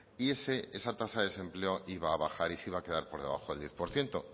y esa tasa de desempleo iba a bajar y se iba a quedar por debajo del diez por ciento